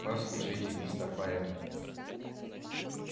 послушайте мистер байерли